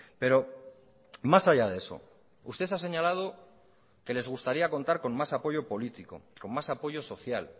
pero más allá de eso usted ha señalado que les gustaría contar con más apoyo político con más apoyo social